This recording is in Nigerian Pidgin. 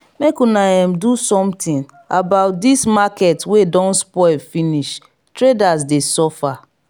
make una um do sometin about dis market wey don spoil finish traders dey suffer.